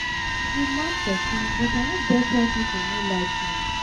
i be mad person but i no get why people no like me.